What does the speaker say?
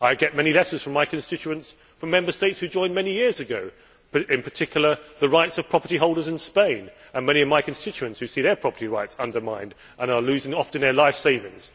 I get many letters from constituents from Member States who joined many years ago, in particular the rights of property holders in Spain, as many of my constituents see their property rights undermined and often lose their life savings.